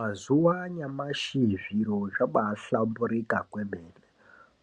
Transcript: Mazuva anyamashi, zviro zvabaahlamburika zvemene.